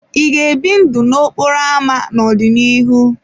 Ị ga-ebi ndụ n'okporo ámá n'ọdịnihu?